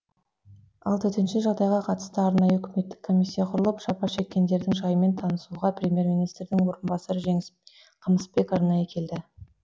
ал төтенше жағдайға қатысты арнайы үкіметтік комиссия құрылып жапа шеккендердің жайымен танысуға премьер министрдің орынбасары жеңіс қамысбек арнайы келді